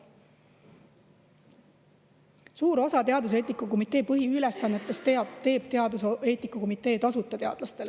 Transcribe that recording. Suurt osa teaduseetika komitee põhiülesannetest teaduseetika komitee teadlastele tasuta.